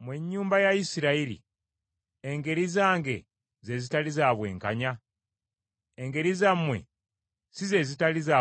Mmwe ennyumba ya Isirayiri, engeri zange ze zitali za bwenkanya? Engeri zammwe si ze zitali za bwenkanya?